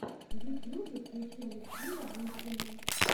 в ютьюбе включи алексея гуркина